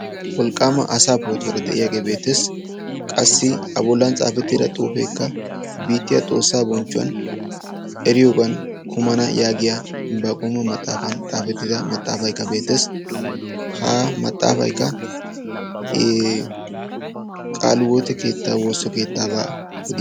wolqqaama asa pootuwaara de'iyaagee beettees. qassi a bollan xaafettida xuufeekka bittiyaa xoossaa bonchchuwan eriyoogan kumana yaagiya inbbaaquuma maxaafan xaafettyda maxaafaykka beettees. ha maxaafaykka qaaliwoote keettaa woosso keettaabaa odiyagaa.